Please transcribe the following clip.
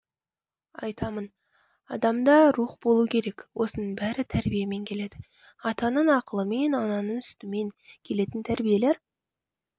айтамын адамда рух болу керек осының бәрі тәрбиемен келеді атаның ақылымен ананың сүтімен келетін тәрбиелер